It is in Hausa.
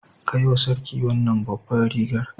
Kai wa sarki wannan babbar rigar.